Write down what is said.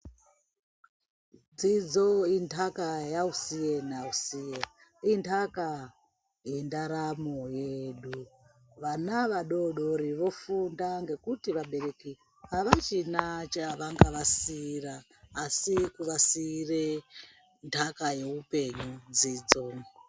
Dzidzo intaka yausiye nausiye intaka yendaramo yedu ana adodori vofunda ngekuti vabereki avachina chavangavasiira asi kuvasiire ntaka yeupenyu dzidzo.